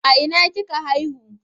A ina kika haihu?